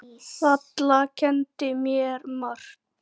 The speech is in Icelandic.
Valla kenndi mér margt.